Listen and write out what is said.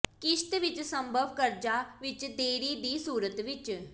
ਿਕਸ਼ਤ ਵਿੱਚ ਸੰਭਵ ਕਰਜ਼ਾ ਵਿਚ ਦੇਰੀ ਦੀ ਸੂਰਤ ਵਿੱਚ